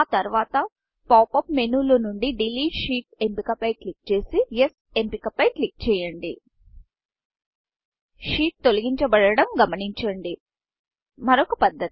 ఆ తర్వాత pop up menuపాప్ అప్ మేను లో నుండి డిలీట్ షీట్ డెలీట్ షీట్ఎంపిక ఫై క్లిక్ చేసి యెస్ ఎస్ఎంపిక పై క్లిక్ చేయండి షీట్ తొలగించాబడడం గమనించండి మరొక పద్ధతి